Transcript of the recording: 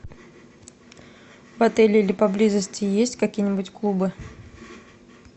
в отеле или поблизости есть какие нибудь клубы